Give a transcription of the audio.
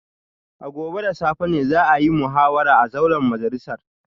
A gobe da safe ne za a yi muhawara a zauren majalisar